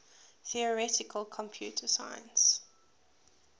theoretical computer science